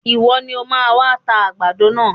Ìwọ ni o máa máa ta àgbàdo náà.